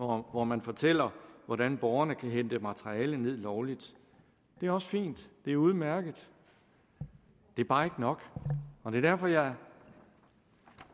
hvor man fortæller hvordan borgerne kan hente materiale ned lovligt det er også fint det er udmærket det er bare ikke nok og det er derfor jeg